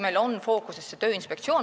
Meil on fookuses Tööinspektsioon.